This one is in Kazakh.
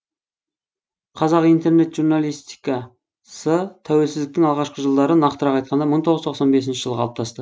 қазақ интернет журналистикасы тәуелсіздіктің алғашқы жылдары нақтырақ айтқанда мың тоғыз жүз тоқсан бесінші жылы қалыптасты